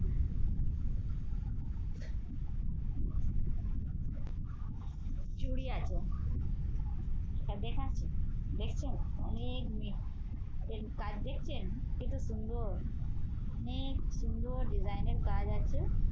চুড়ি আছে। এটা দেখাচ্ছি, দেখছেন অনেক মিল এর কাজ দেখছেন এত সুন্দর অনেক সুন্দর design এর কাজ আছে।